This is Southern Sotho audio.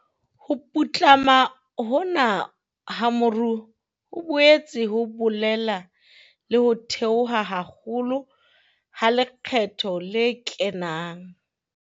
Ho putlama hona ha moruo ho boetse ho bolela le ho theoha haholo ha lekgetho le kenang.